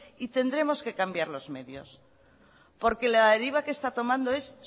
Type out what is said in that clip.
y tendremos que cambiar los medios porque la deriva que está tomando es